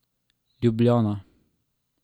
Ljubljana.